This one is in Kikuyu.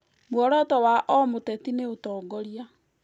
Muoroto wa o mũteti nĩ ũtongoria